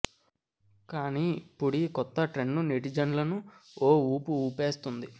కానీ ఇప్పుడీ కొత్త ట్రెండ్ నెటిజన్లను ఓ ఊపు ఊపేస్తోంది